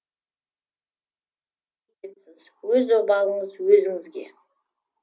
өз обалыңыз өзіңізге